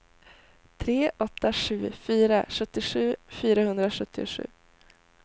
tre åtta sju fyra sjuttiosju fyrahundrasjuttiosju